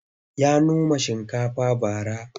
Ya noma shinkafa bara.